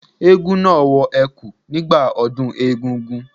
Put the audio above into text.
Eégún náà wọ ẹ̀kú nígbà ọdún egúngún.